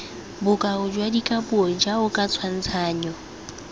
bokao jwa dikapuo jaoka tshwantshanyo